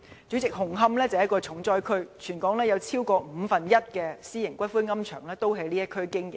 主席，紅磡是一個重災區，全港有超過五分之一的私營龕場在這地區經營。